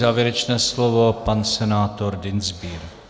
Závěrečné slovo, pan senátor Dienstbier.